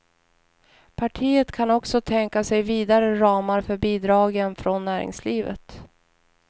Partiet kan också tänka sig vidare ramar för bidragen från näringslivet.